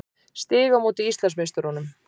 Stig á móti Íslandsmeisturunum.